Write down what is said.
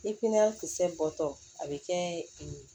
Ni pimiyɛn kisɛ bɔtɔ a bɛ kɛ